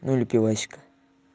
надо пивасика